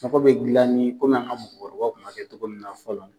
Mako be gilani an ka mɔgɔkɔrɔbaw kun b'a kɛ cogo min na fɔlɔ.